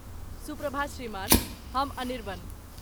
शुभ प्रभात श्रीमान, हम अनिर्बन।